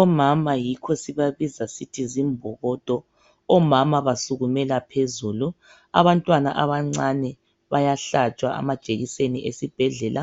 Omama yikho sibabiza sisithi zimbokodo. Omama basukumela phezulu. Abantwana abancane bayahlatshwa amajekiseni esibhedlela.